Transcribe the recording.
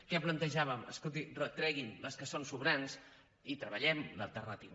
què plantejàvem escolti treguin les que són sobrants i treballem l’alternativa